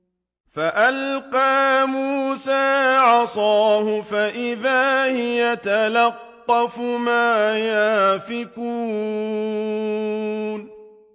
فَأَلْقَىٰ مُوسَىٰ عَصَاهُ فَإِذَا هِيَ تَلْقَفُ مَا يَأْفِكُونَ